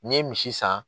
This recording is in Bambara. N'i ye misi san